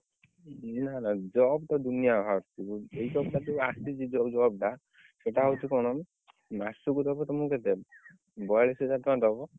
Job ତ ଦୁନିଆ ବାହାରୁଛି ଆସିଛି ଜଉ job ଟା ସେଇଟା ହଉଛି କଣ ମାସକୁ ଦବ ତମକୁ କେତେ ବୟଳିଶ ହଜାର ଟଙ୍କା ଦବ।